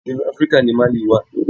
Inú Áfríkà ni Mali wà.